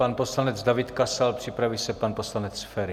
Pan poslanec David Kasal, připraví se pan poslanec Feri.